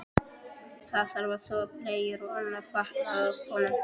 Það þarf að þvo bleyjur og annan fatnað af honum.